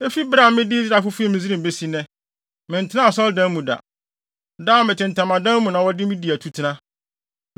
Efi bere a mede Israelfo fii Misraim besi nnɛ, mentenaa asɔredan mu da. Daa, mete ntamadan mu na wɔde di atutena.